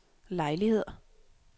lejligheder